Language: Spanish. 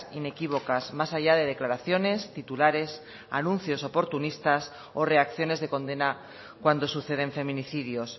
inequívocas más allá de declaraciones titulares anuncios oportunistas o reacciones de condena cuando suceden feminicidios